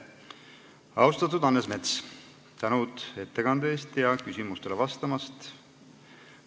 Austatud Hannes Mets, suur tänu ettekande ja küsimustele vastamise eest!